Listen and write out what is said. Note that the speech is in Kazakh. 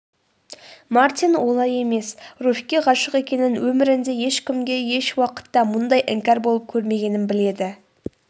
мартин олай емес руфьке ғашық екенін өмірінде ешкімге ешуақытта мұндай іңкәр болып көрмегенін біледі